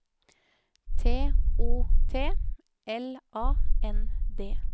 T O T L A N D